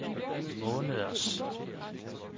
måneders